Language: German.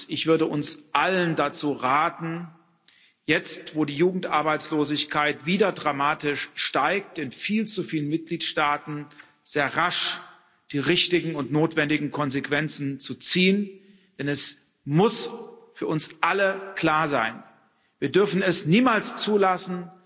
Ich würde uns allen dazu raten, jetzt, wo die Jugendarbeitslosigkeit wieder dramatisch steigt in viel zu vielen Mitgliedstaaten sehr rasch die richtigen und notwendigen Konsequenzen zu ziehen, denn es muss für uns alle klar sein Wir dürfen es niemals zulassen,